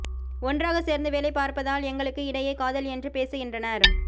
ஒன்றாக சேர்ந்து வேலை பார்ப்பதால் எங்களுக்கு இடையே காதல் என்று பேசுகின்றனர்